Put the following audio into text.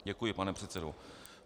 Děkuji, pane předsedo.